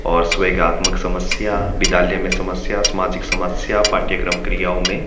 और स्वेगात्मक समस्या विद्यालय में समस्या सामाजिक समस्या पाठ्यक्रम क्रियाओं में--